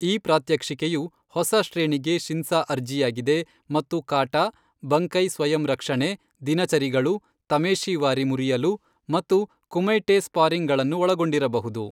ಈ ಪ್ರಾತ್ಯಕ್ಷಿಕೆಯು ಹೊಸ ಶ್ರೇಣಿಗೆ ಶಿನ್ಸಾ ಅರ್ಜಿಯಾಗಿದೆ ಮತ್ತು ಕಾಟಾ, ಬಂಕೈ, ಸ್ವಯಂ ರಕ್ಷಣೆ, ದಿನಚರಿಗಳು, ತಮೇಶಿವಾರಿ ಮುರಿಯಲು, ಮತ್ತು ಕುಮೈಟೆ ಸ್ಪಾರಿಂಗ್ ಗಳನ್ನು ಒಳಗೊಂಡಿರಬಹುದು.